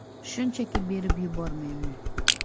Shunchaki berib yubormayman.